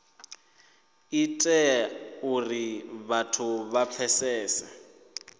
ite uri vhathu vha pfesese